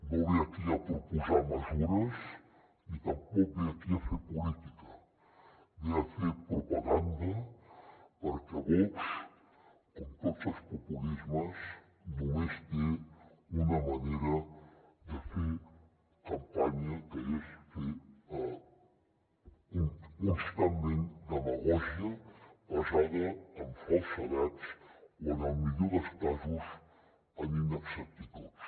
no ve aquí a proposar mesures ni tampoc ve aquí a fer política ve a fer propaganda perquè vox com tots els populismes només té una manera de fer campanya que és fer constantment demagògia basada en falsedats o en el millor dels casos en inexactituds